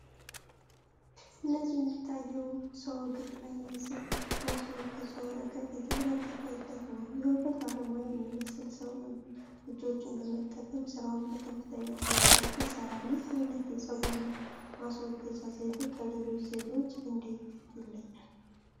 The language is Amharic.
እዚህ የሚታየው ሰው እግሩ ላይ የሰም ማስወገጃ ወረቀት እየተለጠፈለት ነው። የውበት ባለሙያ የሚመስል ሰው እጆቹን በመጠቀም ስራውን በከፍተኛ ጥንቃቄ ይሰራል። ይህ አይነት የፀጉር ማስወገጃ ዘዴ ከሌሎች ዘዴዎች እንዴት ይለያል?